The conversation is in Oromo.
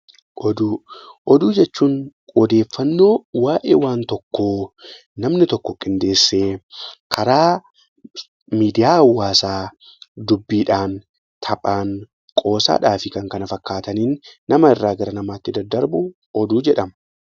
Oduu. Oduu jechuun odeeffannoo waa'ee waan tokkoo namni tokko qindeessee karaa miidiyaa hawaasaa dubbiidhaan, taphaan, qoosaadhaa fi kan kana fakkaataniin nama irraa gara namaatti daddarbu oduu jedhama.